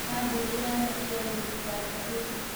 Kambũni ya Nokia gũthitanga Apple.